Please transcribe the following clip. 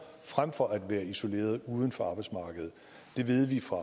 frem for at være isoleret uden for arbejdsmarkedet det ved vi fra